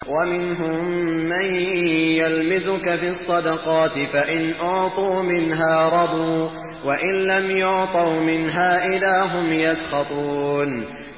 وَمِنْهُم مَّن يَلْمِزُكَ فِي الصَّدَقَاتِ فَإِنْ أُعْطُوا مِنْهَا رَضُوا وَإِن لَّمْ يُعْطَوْا مِنْهَا إِذَا هُمْ يَسْخَطُونَ